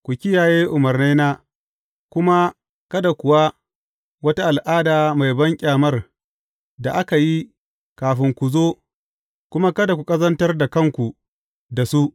Ku kiyaye umarnaina kuma kada yi ku wata al’ada mai banƙyamar da aka yi kafin ku zo kuma kada ku ƙazantar da kanku da su.